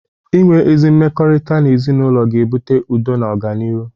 Ị nwe ezi mmekọrịta n'ezinaụlọ ga-ebụte udo na ọganịrụ.